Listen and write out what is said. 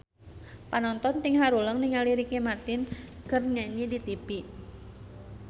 Panonton ting haruleng ningali Ricky Martin keur nyanyi di tipi